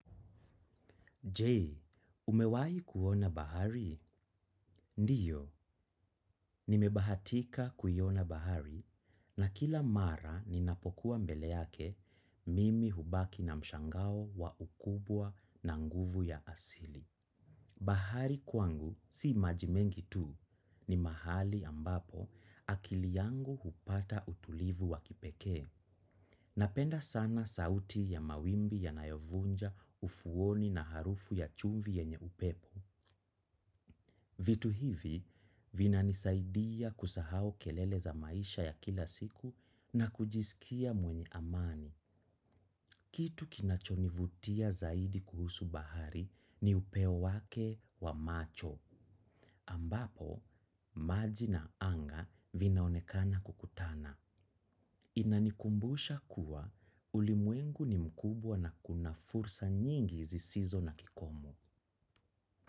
Je, umewahi kuona bahari? Ndiyo, nimebahatika kuiona bahari na kila mara ninapokuwa mbele yake mimi hubaki na mshangao wa ukubwa na nguvu ya asili. Bahari kwangu, si maji mengi tu, ni mahali ambapo akili yangu hupata utulivu wa kipekee. Napenda sana sauti ya mawimbi yanayovunja ufuoni na harufu ya chumvi yenye upepo. Vitu hivi vinanisaidia kusahau kelele za maisha ya kila siku na kujisikia mwenye amani. Kitu kinachonivutia zaidi kuhusu bahari ni upeo wake wa macho. Ambapo, maji na anga vinaonekana kukutana. Inanikumbusha kuwa ulimwengu ni mkubwa na kuna fursa nyingi zisizo na kikomo.